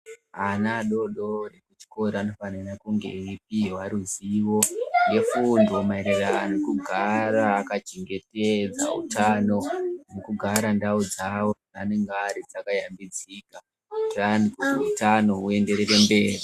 Ana adodori kuchikora anofanire kunge eipiwe ruzivo yefundo mayererano nekugara aka chengetedza utano nekugara ndawo dzawo dzaanenge ari dzakayambidzika kuti hutano huye nderere mberi .